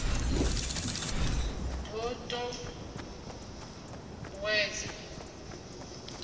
d o t ut uwedza